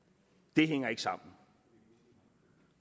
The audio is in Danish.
det hænger ikke sammen